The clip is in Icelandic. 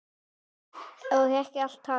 Og ekki er allt talið.